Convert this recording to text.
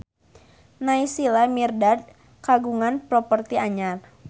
Naysila Mirdad kagungan properti anyar